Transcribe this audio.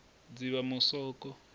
dzivamusoko